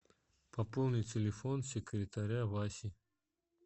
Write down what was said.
пополни телефон секретаря васи